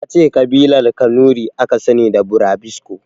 Yace Ƙabilar kanuri aka sani da burabusko